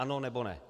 Ano, nebo ne?